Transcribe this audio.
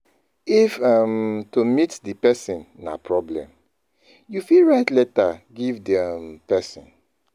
If um to meet di person na problem, you fit write letter give di um person